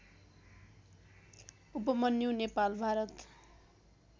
Upmanyu Nepal Bharat